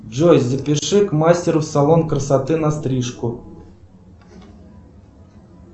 джой запиши к мастеру в салон красоты на стрижку